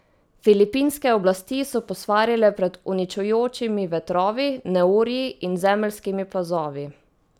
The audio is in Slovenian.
Filipinske oblasti so posvarile pred uničujočimi vetrovi, neurji in zemeljskimi plazovi.